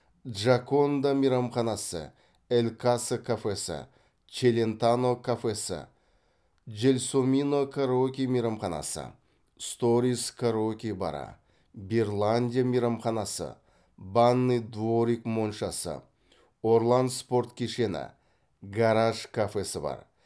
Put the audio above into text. джаконда мейрамханасы эль каса кафесі челентано кафесі джелсомино караоке мейрамханасы сторис караоке бары берландия мейрамханасы банный дворик моншасы орлан спорт кешені гараж кафесі бар